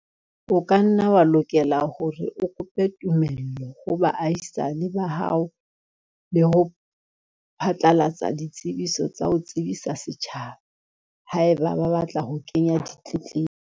O ka nna wa lokela hore o kope tumello ho baahisane ba hao le ho phatlalatsa ditsebiso tsa ho tsebisa setjhaba, haeba ba batla ho kenya ditletlebo.